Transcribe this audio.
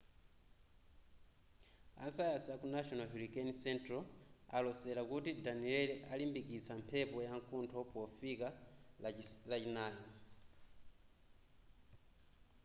a sayansi a ku national hurricane central alosera kuti danielle alimbikitsa mphepo yamkuntho pofika lachinayi